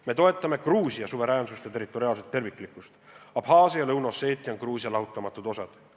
Me toetame Gruusia suveräänsust ja territoriaalset terviklikkust – Abhaasia ja Lõuna-Osseetia on Gruusia lahutamatud osad.